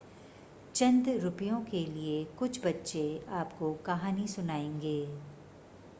चंद रुपयों के लिए कुछ बच्चे आपको कहानी सुनाएंगे